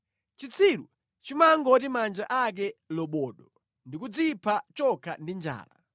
Chitsiru chimangoti manja ake lobodo ndi kudzipha chokha ndi njala.